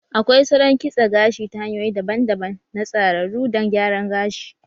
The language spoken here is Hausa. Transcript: Akwai Salon kitsa gashi ta hanyoyi daban-daban na tsararu dan gyaran gashi